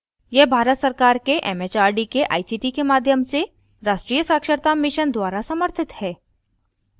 यह भारत सरकार के एमएचआरडी के आईसीटी के माध्यम से राष्ट्रीय साक्षरता mission द्वारा समर्थित है